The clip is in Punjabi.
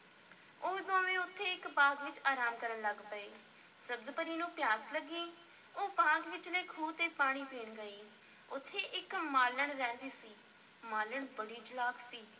ਉਹ ਦੋਵੇਂ ਉੱਥੇ ਇੱਕ ਬਾਗ਼ ਵਿੱਚ ਅਰਾਮ ਕਰਨ ਲੱਗ ਪਏ, ਸਬਜ਼-ਪਰੀ ਨੂੰ ਪਿਆਸ ਲੱਗੀ ਉਹ ਬਾਗ਼ ਵਿਚਲੇ ਖੂਹ ’ਤੇ ਪਾਣੀ ਪੀਣ ਗਈ, ਉੱਥੇ ਇੱਕ ਮਾਲਣ ਰਹਿੰਦੀ ਸੀ ਮਾਲਣ ਬੜੀ ਚਲਾਕ ਸੀ,